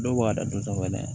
Dɔw ka dadɔw kɔnɔ yan